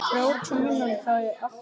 LÁRUS: Áfram með ykkur!